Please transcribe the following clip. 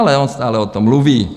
Ale on stále o tom mluví.